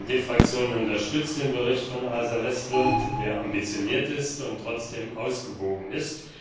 Die SD Fraktion unterstützt den Bericht von Åsa Westlund, der ambitioniert, aber trotzdem ausgewogen ist